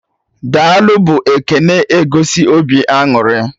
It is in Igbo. "Daalụ" bụ ekene na egosi obi aṅụrị